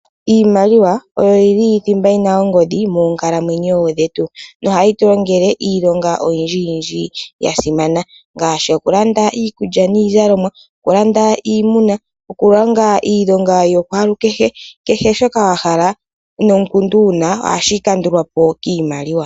Iimaliwa oyo yili thimba yina ongodhi moonkalamwenyo dhetu, nohayi tulongele iilonga oyindji yindji yasimana ngashi, okulanda iikulya nizalomwa, okulanda iimuna, okulonga iilonga yokwalu kehe, kehe shoka wahala nokundu wuna ohashi kandulwa po kimaliwa.